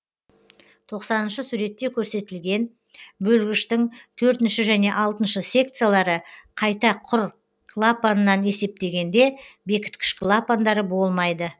тоқсаныншы суретте көрсетілген бөлгіштің төртінші және алтыншы секциялары қайта құр клапанынан есептегенде бекіткіш клапандары болмайды